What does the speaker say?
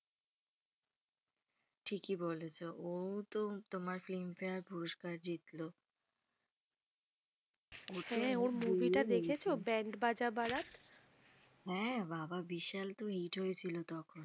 ঠিকই বলেছ। ও তো তোমার film fair পুরষ্কার জিতলো। হ্যাঁ ওর মুভি টা দেখেছ ব্যান্ড বাজা বারাত হ্যাঁ বাবা বিশাল তো হিট হয়েছিল তখন।